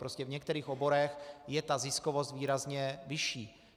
Prostě v některých oborech je ta ziskovost výrazně vyšší.